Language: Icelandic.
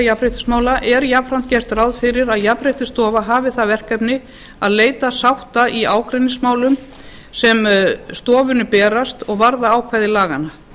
jafnréttismála er jafnframt gert ráð fyrir að jafnréttisstofa hafi það verkefni að leita sátta í ágreiningsmálum sem stofunni berast og varða ákvæði laganna